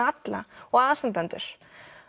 alla og aðstandendur